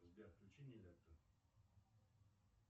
сбер включи нилетто